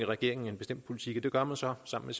regeringen en bestemt politik og det gør man så sammen